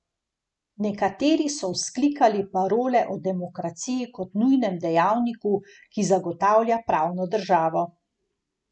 Nekateri so vzklikali parole o demokraciji kot nujnem dejavniku, ki zagotavlja pravno državo.